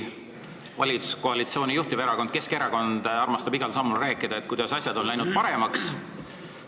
Valitsuskoalitsiooni juhtiverakond Keskerakond armastab igal sammul rääkida, kuidas asjad on läinud paremaks.